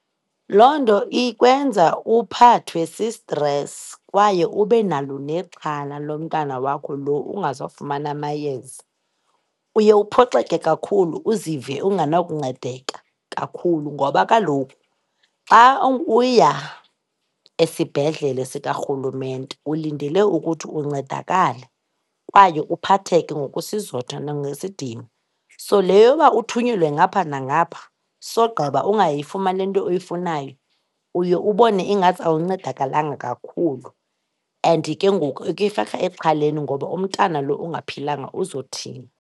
Loo nto ikwenza uphathwe si-stress kwaye ube nalo nexhala lomntana wakho lo ungazofumana amayeza. Uye uphoxeke kakhulu, uzive ungenakuncedeka kakhulu ngoba kaloku xa uya esibhedlele sikarhulumente ulindele ukuthi uncedakale kwaye uphatheke ngokwesizotha nangesidima. So le yoba uthunyelwe ngapha nangapha sogqiba ungayifumani le nto oyifanayo, uye ubone ingathi awuncedakalanga kakhulu, and ke ngoku ikufaka exhaleni ngoba umntana lo ungaphilanga uzothini.